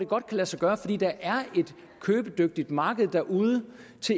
godt lade sig gøre fordi der er et købedygtigt marked derude